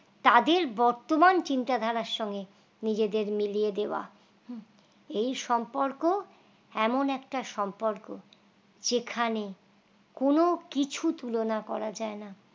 তাদের বর্তমান চিন্তা ধারার সঙ্গে নিজেদের মিলিয়ে দেওয়া হুঁ এই সম্পর্ক এমন একটা সম্পর্ক যেখানে কোন কিছু তুলনা করা যায় না